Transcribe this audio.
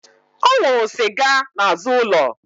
Ọ nwụrụ sịga n'azụ ụlọ